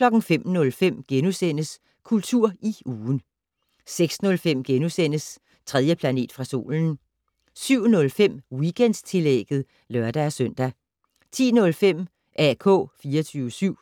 05:05: Kultur i ugen * 06:05: 3. planet fra solen * 07:05: Weekendtillægget (lør-søn) 10:05: AK 24syv